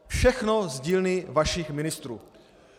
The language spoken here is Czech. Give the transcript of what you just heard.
Všechno z dílny vašich ministrů!